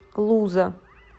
луза